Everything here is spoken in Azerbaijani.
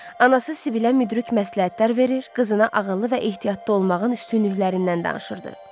Anası Sibilə müdrik məsləhətlər verir, qızına ağıllı və ehtiyatlı olmağın üstünlüklərindən danışırdı.